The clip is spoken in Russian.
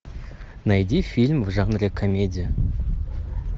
найди фильм в жанре комедия